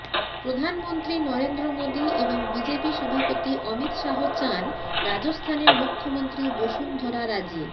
প্রধানমন্ত্রী নরেন্দ্র মোদী এবং বিজেপি সভাপতি অমিত শাহ চান রাজস্থানের মুখ্যমন্ত্রী বসুন্ধরা রাজে